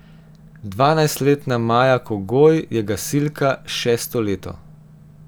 Dvanajstletna Maja Kogoj je gasilka šesto leto.